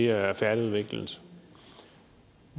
er færdigudviklet